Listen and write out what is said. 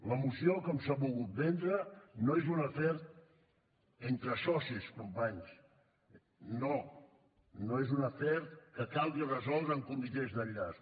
la moció com s’ha volgut vendre no és un afer entre socis companys no no és un afer que calgui resoldre amb comitès d’enllaç